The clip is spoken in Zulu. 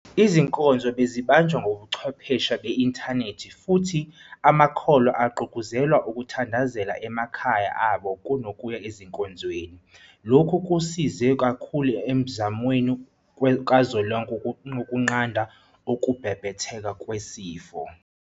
Izinkonzo bezibanjwa ngobuchwepheshe beinthanethi futhi amakholwa agqugquzelwa ukuthandazela emakhaya abo kuno kuya ezinkonzweni. Lokhu kusize kakhulu emzamweni kazwelonke wokunqanda ukubhebhetheka kwesifo.